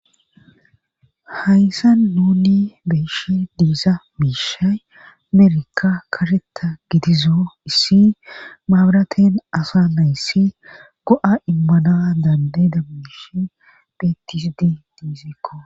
Hayssa nuni beeshe diiza miishay amerka karheta gidizo issi maabraten asa nayssi go' immana dande damish petisdi diisekko.